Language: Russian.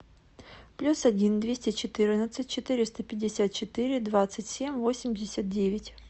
плюс один двести четырнадцать четыреста пятьдесят четыре двадцать семь восемьдесят девять